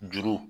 Juru